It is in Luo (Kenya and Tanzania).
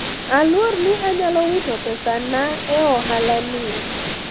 alwor ni anyalo wito pesa na e ohala ni